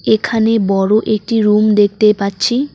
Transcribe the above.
এখানে বড়ো একটি রুম দেখতে পাচ্ছি।